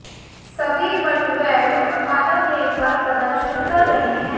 सभी butt weld उत्पादन rail पर प्रदर्शन कर रहे हैं